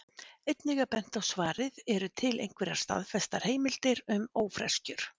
Einnig er bent á svarið Eru til einhverjar staðfestar heimildir um ófreskjur?